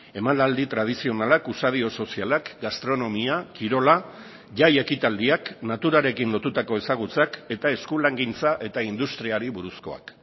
emanaldi tradizionalak usadio sozialak gastronomia kirola jai ekitaldiak naturarekin lotutako ezagutzak eta eskulangintza eta industriari buruzkoak